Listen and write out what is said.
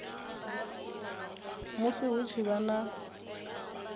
musi hu tshi vha na